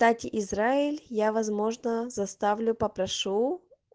дать израиль я возможно заставлю попрошу